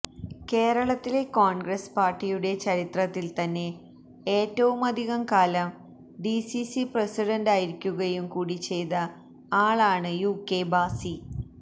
കേരളത്തിലെ കോൺഗ്രസ് പാർട്ടിയുടെ ചരിത്രത്തിൽ തന്നെ ഏറ്റവുമധികം കാലം ഡിസിസി പ്രസിഡണ്ടായിരിക്കുകയും കൂടി ചെയ്ത ആളാണ് യുകെ ഭാസി